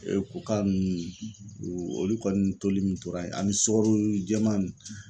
koka ninnu olu kɔni toli min tora ye ani sukaro jɛman nin.